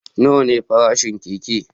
Nawa ne farashin keke?